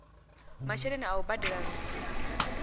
masheleni a u badela nnu